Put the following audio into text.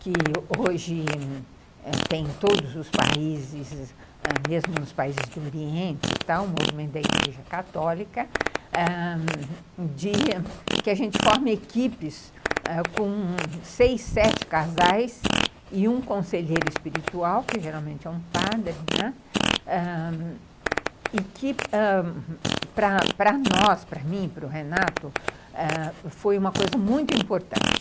que hoje tem todos os países, ãh, mesmo nos países do Oriente, o movimento da Igreja Católica, ãh que a gente forme equipes com seis, sete casais e um conselheiro espiritual, que geralmente é um padre, né, e que ãh para nós, para mim, para o Renato, foi uma coisa muito importante.